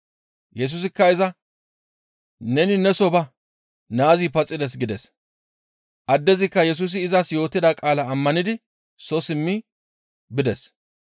Yesusikka iza, «Neni neso ba! Naazi paxides» gides; addezikka Yesusi izas yootida qaalaa ammanidi soo simmi bides.